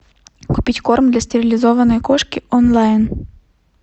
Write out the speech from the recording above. купить корм для стерилизованной кошки онлайн